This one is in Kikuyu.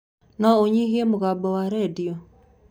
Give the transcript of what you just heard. Noũnyihie mũgambo wa rendio?